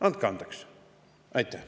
Andke andeks!